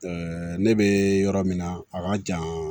ne bɛ yɔrɔ min na a ka jan